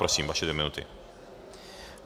Prosím, vaše dvě minuty.